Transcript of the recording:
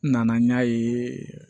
N nana n y'a ye